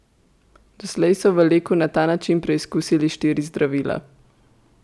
Doslej so v Leku na ta način preizkusili štiri zdravila.